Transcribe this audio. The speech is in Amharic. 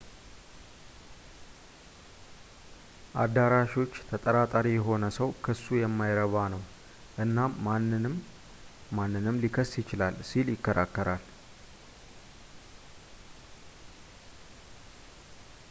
አዳራሾች ተጠራጣሪ የሆነ ሰው ክሱ የማይረባ ነው እናም ማንም ማንንም ሊከስ ይችላል ሲል ይከራከራል